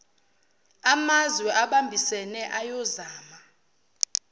amazwe abambisene ayozama